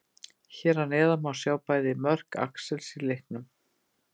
Hér að neðan má sjá bæði mörk Axels í leiknum.